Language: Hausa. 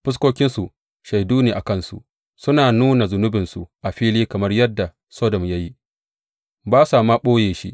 Fuskokinsu shaidu ne a kansu; suna nuna zunubinsu a fili kamar yadda Sodom ya yi; ba sa ma ɓoye shi.